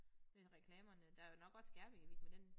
Men reklamerne der jo nok også Skærbæk Avis men den